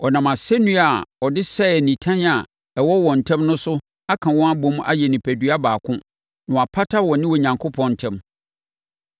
Ɔnam asɛnnua a ɔde sɛee nitan a ɛwɔ wɔn ntam no so aka wɔn abom ayɛ onipadua baako na wapata wɔne Onyankopɔn ntam.